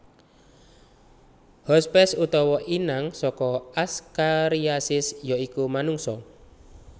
Hospes utawa inang saka Askariasis ya iku manungsa